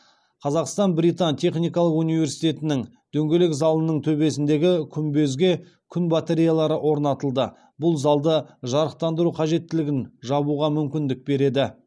қазақстан британ техникалық университетінің дөңгелек залының төбесіндегі күмбезге күн батареялары орнатылды бұл залды жарықтандыру қажеттілігін жабуға мүмкіндік берді